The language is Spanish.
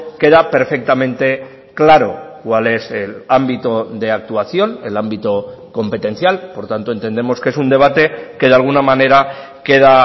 queda perfectamente claro cuál es el ámbito de actuación el ámbito competencial por tanto entendemos que es un debate que de alguna manera queda